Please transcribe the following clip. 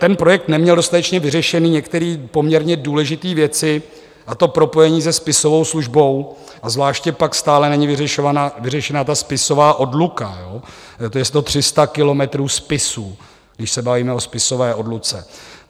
Ten projekt neměl dostatečně vyřešené některé poměrně důležité věci, a to propojení se spisovou službou, a zvláště pak stále není vyřešena ta spisová odluka, to je 300 kilometrů spisů, když se bavíme o spisové odluce.